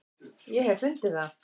ég hef fundið það!